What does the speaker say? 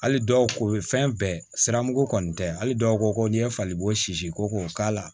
Hali dɔw ko ye fɛn bɛɛ siramugu kɔni tɛ hali dɔw ko ko n'i ye fali bo si ko k'a la